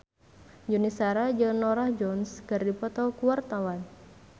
Yuni Shara jeung Norah Jones keur dipoto ku wartawan